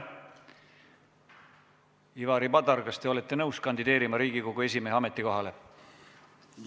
Ivari Padar, kas te olete nõus kandideerima Riigikogu esimehe ametikohale?